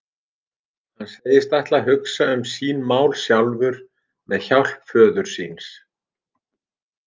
Hann segist ætla að hugsa um sín mál sjálfur með hjálp föður síns.